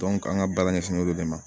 an ka baara ɲɛsinn'o de ma